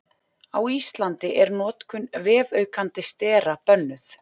Á Íslandi er notkun vefaukandi stera bönnuð.